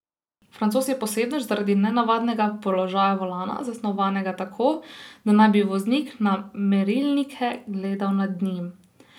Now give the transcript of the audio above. Francoz je posebnež zaradi nenavadnega položaja volana, zasnovanega tako, da naj bi voznik na merilnike gledal nad njim.